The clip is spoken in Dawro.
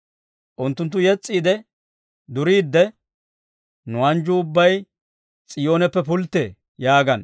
Unttunttu yes's'iide duriidde, «Nu anjjuu ubbay S'iyooneppe pulttee» yaagana.